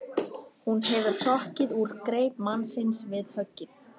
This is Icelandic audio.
Hún hefur hrokkið úr greip mannsins við höggið.